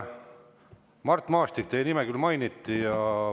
Mart Maastik, teie nime küll mainiti.